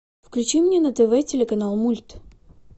включи мне на тв телеканал мульт